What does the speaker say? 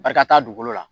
Barika dugukolo la